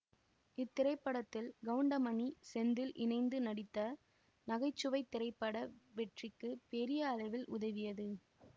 இத்திரைப்படத்தில் கவுண்டமணி செந்தில் இணைந்து நடித்த நகைச்சுவை திரைப்பட வெற்றிக்கு பெரிய அளவில் உதவியது